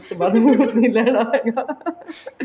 ਇਸ ਤੋਂ ਵੱਧ ਨੀ ਕੁੱਛ ਲੈਣਾ ਹੈਗਾ